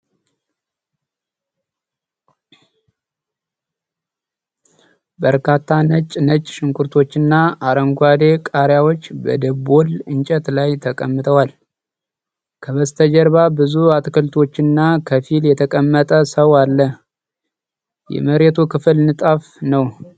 በርካታ ነጭ ነጭ ሽንኩርቶችና አረንጓዴ ቃሪያዎች በደቦል እንጨት ላይ ተቀምጠዋል። ከበስተጀርባ ብዙ አትክልቶችና ከፊል የተቀመጠ ሰው አለ። የመሬቱ ክፍል ንጣፍ ነው።